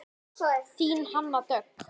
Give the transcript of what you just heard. Þín Hanna Dögg.